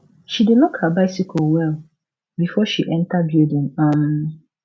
she dey lock her bicycle well before she enter building um